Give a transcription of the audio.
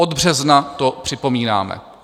Od března to připomínáme.